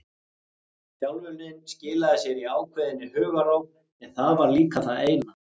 Þjálfunin skilaði sér í ákveðinni hugarró en það var líka það eina.